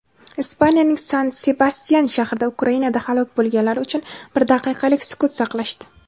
Ispaniyaning San-Sebastyan shahrida Ukrainada halok bo‘lganlar uchun bir daqiqalik sukut saqlashdi.